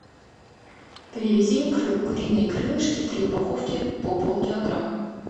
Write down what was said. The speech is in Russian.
привези мне куриные крылышки три упаковки по пол килограмма